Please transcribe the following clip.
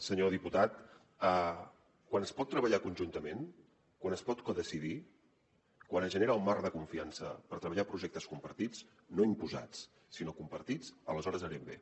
senyor diputat quan es pot treballar conjuntament quan es pot codecidir quan es genera el marc de confiança per treballar projectes compartits no imposats sinó compartits aleshores anem bé